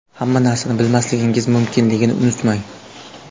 Hamma narsani bilmasligingiz mumkinligini unutmang.